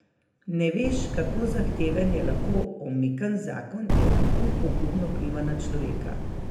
Ne veš, kako zahteven je lahko omikan zakon in kako pogubno vpliva na človeka.